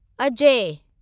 Ajay